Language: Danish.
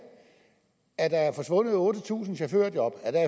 at der er forsvundet otte tusind chaufførjob